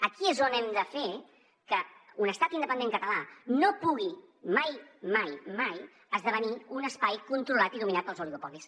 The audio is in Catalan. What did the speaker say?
aquí és on hem de fer que un estat independent català no pugui mai mai mai esdevenir un espai controlat i dominat pels oligopolis